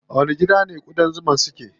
A wani gida ƙudan zuman su ke?